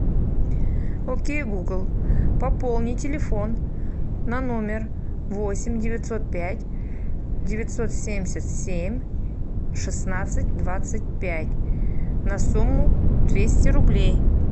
окей гугл пополни телефон на номер восемь девятьсот пять девятьсот семьдесят семь шестнадцать двадцать пять на сумму двести рублей